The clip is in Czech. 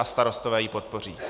A Starostové ji podpoří.